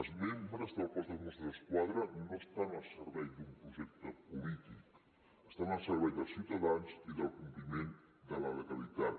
els membres del cos de mossos d’esquadra no estan al servei d’un projecte polític estan al servei dels ciutadans i del compliment de la legalitat